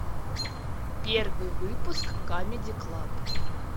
первый выпуск камеди клаб